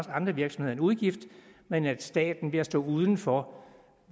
andre virksomheder en udgift men at staten ved at stå uden for